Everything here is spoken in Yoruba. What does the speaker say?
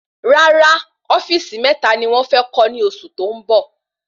Rárá ofíìsì meta ni wón fé kó ní oṣù tó ń bọ